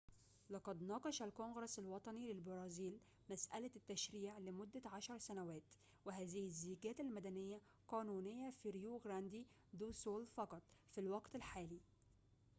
لقد ناقش الكونغرس الوطني للبرازيل مسألة التشريع لمدة عشر سنوات وهذه الزيجات المدنية قانونية في ريو غراندي دو سول فقط في الوقت الحالي